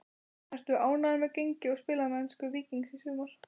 Ertu ánægður með gengi og spilamennsku Víkings í sumar?